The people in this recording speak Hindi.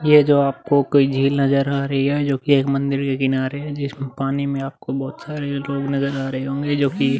ये जो आपको कोई झील नजर आ रही है जोकि एक मंदिर के किनारे है। जिसमें पानी में आपको बहोत से लोग नजर आ रहे होंगे जोकि --